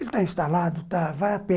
Ele está instalado, tá, vai a pé.